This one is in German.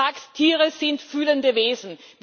Der sagt Tiere sind fühlende Wesen.